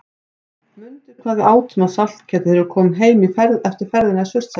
Mundu hvað við átum af saltkjöti þegar við komum heim eftir ferðina í Surtshelli.